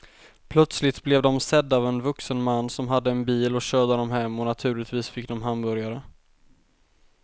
Plötsligt blev de sedda av en vuxen man som hade en bil och körde dem hem och naturligtvis fick de hamburgare.